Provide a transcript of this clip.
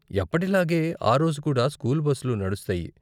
ఎప్పటిలాగే ఆ రోజు కూడా స్కూల్ బస్లు నడుస్తాయి.